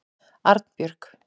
Arnbjörg